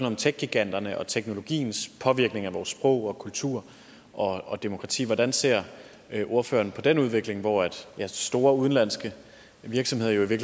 om techgiganterne og teknologiens påvirkning af vores sprog kultur og og demokrati hvordan ser ordføreren på den udvikling hvor store udenlandske virksomheder jo i